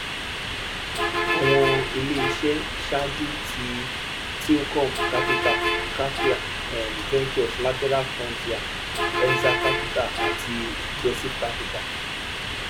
àwọn ilé iṣẹ ṣáájú ni tlcom capital capria um ventures lateral frontier enza capital àti ingressive capital